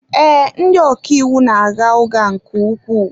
Ee, ndị ọka iwu na-agha ụgha nke ukwuu.